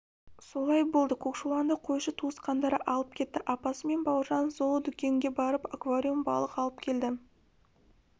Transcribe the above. солай болды көкшуланды қойшы туысқандары алып кетті апасы мен бауыржан зоодүкенге барып аквариум балық алып келді